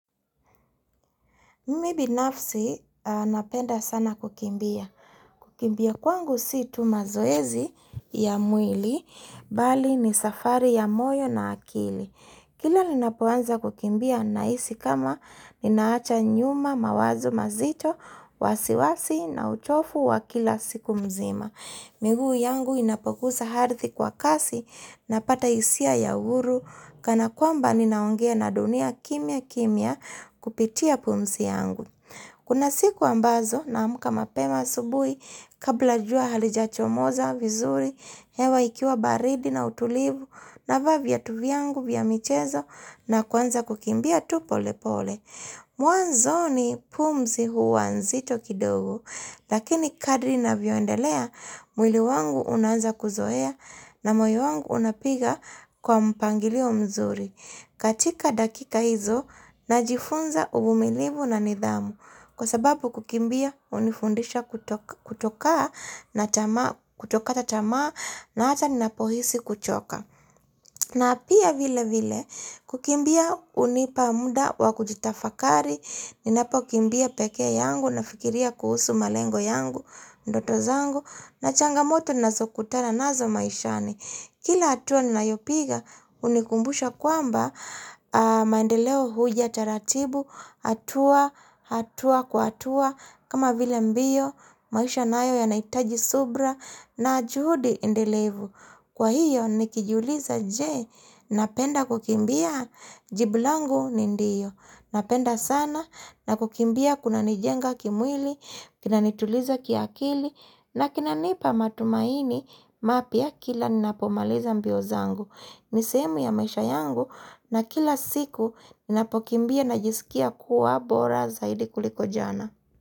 Mimi binafsi napenda sana kukimbia. Kukimbia kwangu si tu mazoezi ya mwili, bali ni safari ya moyo na akili. Kila ninapoanza kukimbia nahisi kama ninaacha nyuma mawazo mazito, wasiwasi na uchovu wa kila siku mzima. Miguu yangu inapogusa ardhi kwa kasi, napata hisia ya uhuru, kana kwamba ninaongea na dunia kimya kimya kupitia pumzi yangu. Kuna siku ambazo naamka mapema asubuhi, kabla jua halijachomoza vizuri, hewa ikiwa baridi na utulivu, navaa viatu vyangu vya michezo na kuanza kukimbia tu polepole. Mwanzoni pumzi huwa nzito kidogo, lakini kadri navyoendelea, mwili wangu unaanza kuzoea na moyo wangu unapiga kwa mpangilio mzuri. Katika dakika hizo, najifunza uvumilivu na nidhamu, kwa sababu kukimbia hunifundisha kutokata tamaa na hata ninapohisi kuchoka. Na pia vilevile, kukimbia hunipa muda wa kujitafakari, ninapokimbia peke yangu nafikiria kuhusu malengo yangu, ndoto zangu, na changamoto nazokutana nazo maishani. Kila hatua ninayopiga hunikumbusha kwamba maendeleo huja taratibu, hatua, hatua, kwa hatua, kama vile mbio, maisha nayo yanahitaji subra na juhudi endelevu. Kwa hiyo nikijiuliza je, napenda kukimbia? Jibu langu ni ndio, napenda sana, na kukimbia kunanijenga kimwili, kinanituliza kiakili, na kinanipa matumaini mapya kila ninapomaliza mbio zangu. Ni sehemu ya maisha yangu na kila siku ninapokimbia najisikia kuwa bora zaidi kuliko jana.